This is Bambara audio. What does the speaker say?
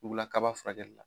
Bugulakaba furakɛlila.